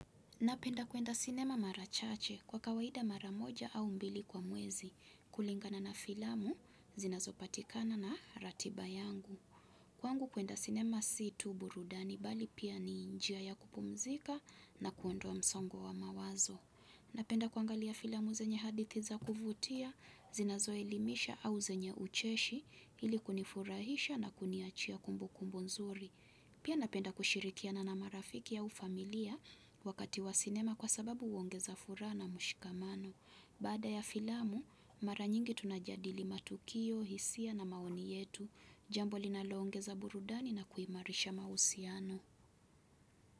Napenda kuenda sinema mara chache kwa kawaida mara moja au mbili kwa mwezi kulingana na filamu, zinazopatikana na ratiba yangu. Kwangu kuenda sinema si tu burudani bali pia ni njia ya kupumzika na kuondoa msongo wa mawazo. Napenda kuangalia filamu zenye hadithi za kuvutia, zinazoelimisha au zenye ucheshi ili kunifurahisha na kuniachia kumbukumbu nzuri. Pia napenda kushirikiana na marafiki au familia wakati wa sinema kwa sababu huongeza furaha na mshikamano. Baada ya filamu, mara nyingi tunajadili matukio, hisia na maoni yetu, jambo linaloongeza burudani na kuimarisha mahusiano.